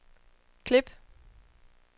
klip